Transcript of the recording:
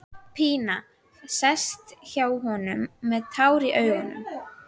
Pína sest hjá honum með tár í augum.